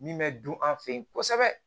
Min bɛ dun an fɛ yen kosɛbɛ